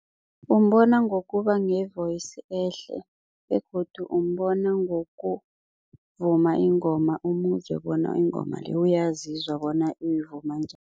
Umbona ngokuba ne-voice ehle begodu umbona ngokuvuma ingoma umuzwe bona ingoma le uyasizwa bona uyivuma njani.